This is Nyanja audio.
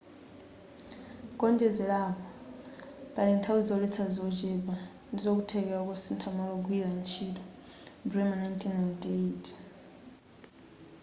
kuonjezerapo pali nthawi zoletsa zochepa ndizokuthekera kosintha maola ogwirira ntchito bremer 1998